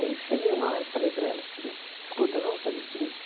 Aí eu cheguei uma hora e falei para ela o seguinte, escuta, vamos fazer o seguinte.